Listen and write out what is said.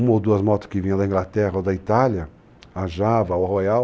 Uma ou duas motos que vinham da Inglaterra ou da Itália, a Java, a Royal,